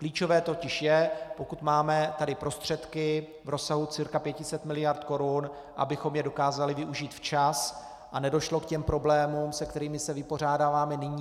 Klíčové totiž je, pokud máme tady prostředky v rozsahu cca 500 miliard korun, abychom je dokázali využít včas a nedošlo k těm problémům, se kterými se vypořádáváme nyní.